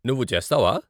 నువ్వు చేస్తావా?